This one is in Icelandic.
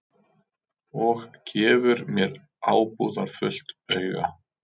Og gefur mér ábúðarfullt auga.